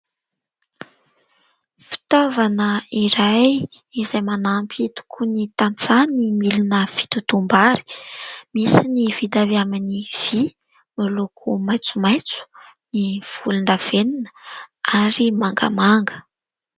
Fitaovana iray izay manampy tokoa ny tantsaha ny milina fitotom-bary, misy ny vita avy amin'ny vy miloko maitsomaitso, ny volon-davenona ary mangamanga.